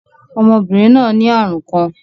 Ọmọbinrin naa ni arun kan.